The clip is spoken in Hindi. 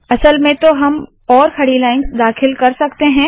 असल में तो हम और खड़ी लाइन्स दाखिल कर सकते है